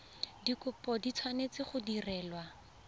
dikopo di tshwanetse go direlwa